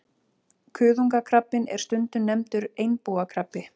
Kuðungakrabbinn er stundum nefndur einbúakrabbi.